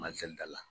Mazi da la